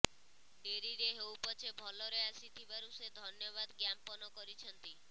ଡେରିରେ ହେଉ ପଛେ ଭଲରେ ଆସିଥିବାରୁ ସେ ଧନ୍ୟବାଦ ଜ୍ଞାପନ କରିଛନ୍ତି